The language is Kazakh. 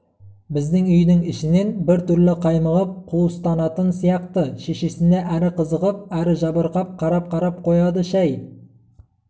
біздің үйдің ішінен бір түрлі қаймығып қуыстанатын сияқты шешесіне әрі қызығып әрі жабырқап қарап-қарап қояды шай